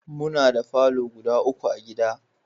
Muna da falo guda uku a gida